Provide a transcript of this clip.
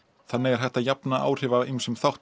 þannig er hægt að jafna áhrif af ýmsum þáttum